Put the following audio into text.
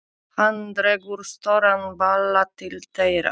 Hann dregur stóran bala til þeirra.